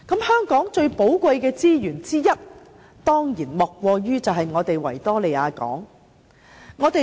香港最寶貴的資源之一當然莫過於維多利亞港。